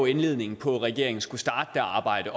indledningen på at regeringen skulle starte arbejdet